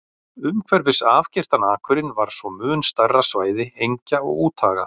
Umhverfis afgirtan akurinn var svo mun stærra svæði engja og úthaga.